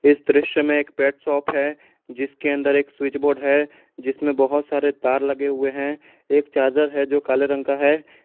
इस दृश्य में एक पेट शॉप है जिसके अंदर एक स्विच बोर्ड है जिसमें बहोत सारे तार लगे हुए हैं एक चार्जर है जो काले रंग का है।